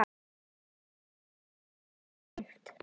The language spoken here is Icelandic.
Allt annað gleymt.